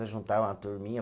Nós juntava uma turminha.